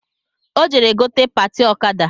Ọ jere gote patị ọkada